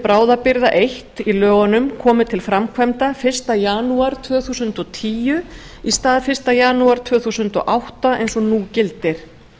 bráðabirgða eins komi til framkvæmda fyrsta janúar tvö þúsund og tíu í stað fyrsta janúar tvö þúsund og átta eins og nú gildir